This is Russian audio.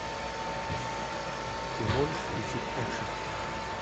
ты можешь включить экшн